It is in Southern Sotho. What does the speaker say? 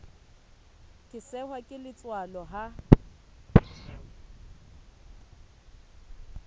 ke sehwa ke letswalo ha